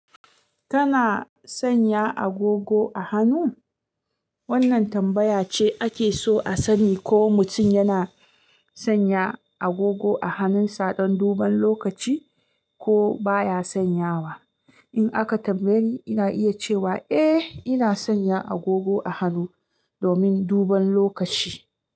Kana sanya agogo a hannu? Wannan tambaya ce ake so a sani ko mutum yana sanya agogo a hannunsa don duban lokaci ko baya sanyawa. In aka tambaye ni, ina iya cewa eh ina sanya agogo a hannu domin duban lokaci.